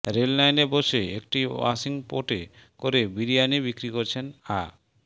রেললাইনে বসে একটি ওয়াশিংপটে করে বিরিয়ানী বিক্রি করছেন আ